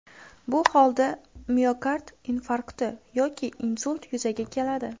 Bu holda miokard infarkti yoki insult yuzaga keladi.